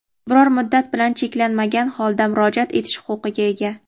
biror muddat bilan cheklanmagan holda murojaat etish huquqiga ega.